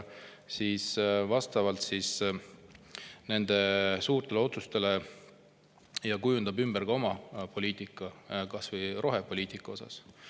Kas ta sätib ja kujundab nende suurte otsuste järgi ümber ka oma poliitika, kas või rohepoliitika?